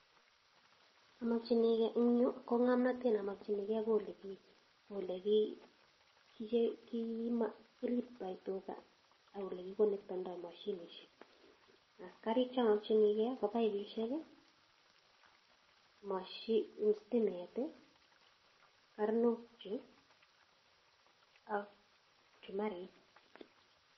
Eng' yuu ko ng'omnotet ne omokyinikee ko olegeriptoi tuga ak oleconectendo mashinishek. Ak kariik cheomokyinige ko pipesiek, sitimet, karnochu ak pchumarik.